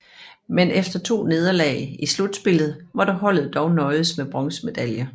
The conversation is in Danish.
Men efter to nederlag i slutspillet måtte holdet dog nøjes med bronzemedaljer